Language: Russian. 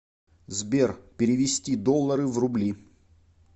сбер перевести доллары в рубли